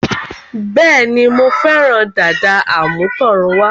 Bẹ́ẹ̀ni, Mo fẹ́ràn dàda àmútọ̀runwá